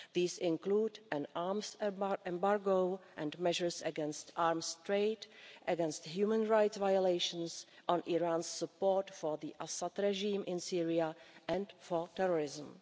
These include an arms embargo and measures against arms trade, against human rights violations, on Iran's support for the Assad regime in Syria and for terrorism.